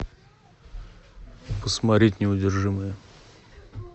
посмотреть неудержимые